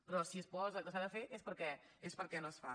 però si es posa que s’ha de fer és perquè no es fa